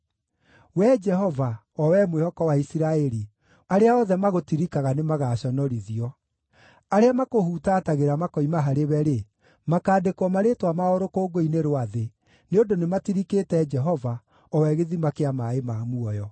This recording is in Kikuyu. Wee Jehova, o wee mwĩhoko wa Isiraeli, arĩa othe magũtirikaga nĩmagaconorithio. Arĩa makũhutatagĩra makoima harĩwe-rĩ, makaandĩkwo marĩĩtwa mao rũkũngũ-inĩ rwa thĩ, nĩ ũndũ nĩmatirikĩte Jehova, o we gĩthima kĩa maaĩ ma muoyo.